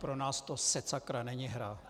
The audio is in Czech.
Pro nás to setsakra není hra!